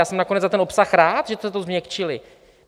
Já jsem nakonec za ten obsah rád, že jste to změkčili.